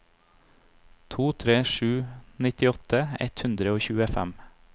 to tre sju to nittiåtte ett hundre og tjuefem